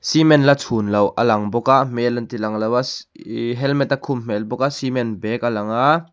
cement la chhun loh a lang bawk a hmel an ti lang lo a ih helmet a khum hmel bawk a cement bag a lang a.